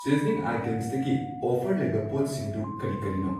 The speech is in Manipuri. ꯁꯤꯖꯅꯤꯡ ꯑꯥꯏꯇꯦꯝꯁꯇꯒꯤ ꯑꯣꯐꯔ ꯂꯩꯕ ꯄꯣꯠꯁꯤꯡꯗꯨ ꯀꯔꯤ ꯀꯔꯤꯅꯣ?